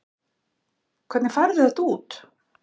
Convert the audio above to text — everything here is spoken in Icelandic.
Hvernig færðu þetta út?